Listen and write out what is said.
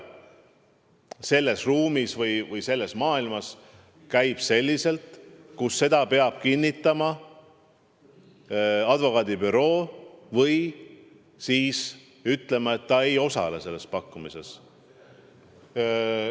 Selles ruumis või selles maailmas käib asi selliselt, et seda peab kinnitama advokaadibüroo või siis ütlema, et ta ei osale selles pakkumises.